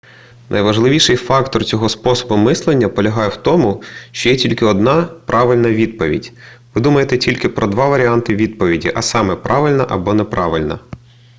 найважливіший фактор цього способу мислення полягає в тому що є тільки одна правильна відповідь ви думаєте тільки про два варіанти відповіді а саме правильна або неправильна